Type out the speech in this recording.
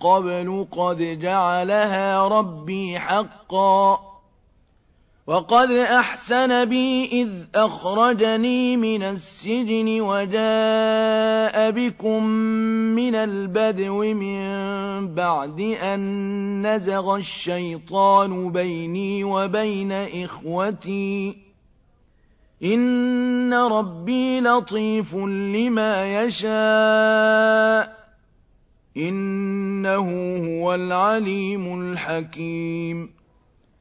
قَبْلُ قَدْ جَعَلَهَا رَبِّي حَقًّا ۖ وَقَدْ أَحْسَنَ بِي إِذْ أَخْرَجَنِي مِنَ السِّجْنِ وَجَاءَ بِكُم مِّنَ الْبَدْوِ مِن بَعْدِ أَن نَّزَغَ الشَّيْطَانُ بَيْنِي وَبَيْنَ إِخْوَتِي ۚ إِنَّ رَبِّي لَطِيفٌ لِّمَا يَشَاءُ ۚ إِنَّهُ هُوَ الْعَلِيمُ الْحَكِيمُ